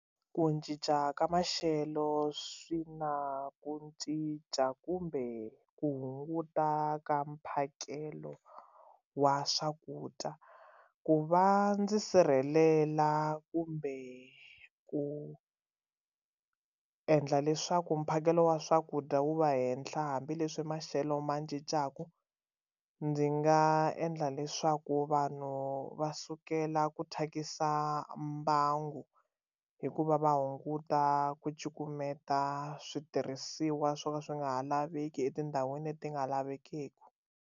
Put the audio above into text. Ku cinca ka maxelo swi na ku cinca kumbe ku hunguta ka mphakelo wa swakudya ku va ndzi sirhelela kumbe ku endla leswaku mphakelo wa swakudya wu va henhla hambileswi maxelo ma cincaka ndzi nga endla leswaku vanhu va sukela ku thyakisa mbangu hikuva va hunguta ku cukumeta switirhisiwa swo ka swi nga ha laveki etindhawini leti nga lavekeki.